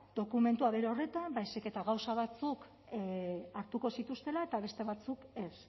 dokumentua bere horretan baizik eta gauza batzuk hartuko zituztela eta beste batzuk ez